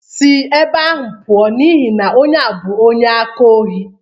Sị ebe ahụ pụọ n'ihi na onye a bụ onye aka ohi!